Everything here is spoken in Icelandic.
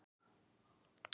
Raforka Orkustofnun.